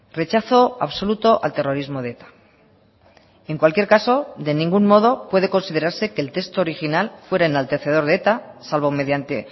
rechazo absoluto al terrorismo de eta en cualquier caso de ningún modo puede considerarse que el texto original fuera enaltecedor de eta salvo mediante